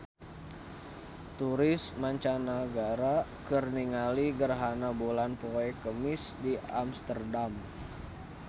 Turis mancanagara keur ningali gerhana bulan poe Kemis di Amsterdam